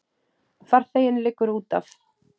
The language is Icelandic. Farþeginn liggur útaf.